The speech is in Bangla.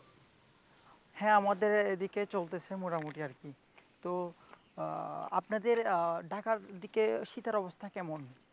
হ্যাঁ আমাদের এদিকে চলতেছে মোটামুটি আরকি তো আপনাদের ঢাকার ওদিকে শীতের অবস্থা কেমন?